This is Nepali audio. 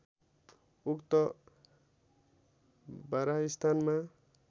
उक्त बारह स्थानमा